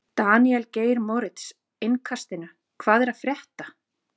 Daníel Geir Moritz, Innkastinu: Hvað er að frétta?